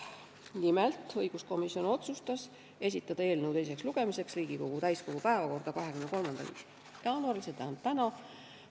Nimelt otsustas õiguskomisjon esitada eelnõu teiseks lugemiseks Riigikogu täiskogu päevakorda 23. jaanuariks, st tänaseks.